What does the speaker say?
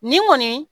Nin kɔni